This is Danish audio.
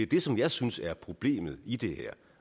det som jeg synes er problemet i det her